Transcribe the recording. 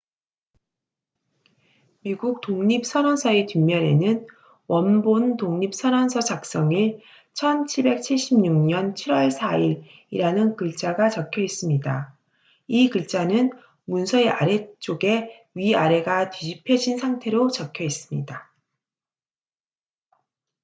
"미국 독립선언서의 뒷면에는 "원본 독립선언서 작성일 1776년 7월 4일""이라는 글자가 적혀 있습니다. 이 글자는 문서의 아랫쪽에 위아래가 뒤집혀진 상태로 적혀 있습니다.